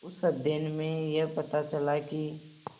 उस अध्ययन में यह पता चला कि